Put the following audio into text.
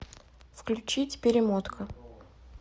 включить перемотка